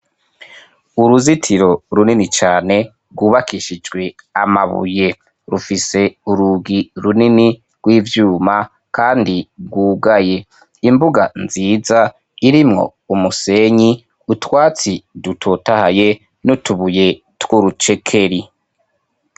Uruzitiro runini cane rwubakishijwe amabuye rufise urugi runini rw'ivyuma kandi bwugaye imbuga nziza irimwo umusenyi utwatsi dutotahaye n'utubuye tw'urucekeri.